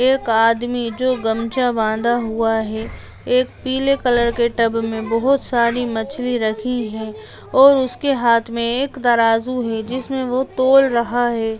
एक आदमी जो गमछा बांधा हुआ है एक पीले कलर के टब मे बहोत सारी मछली रखी है और उसके हाथ मे एक दराजू जिसमें वो तोल रहा है।